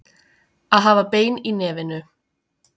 Að hafa bein í nefinu